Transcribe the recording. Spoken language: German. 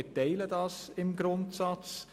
Wir teilen diese Ansicht im Grundsatz.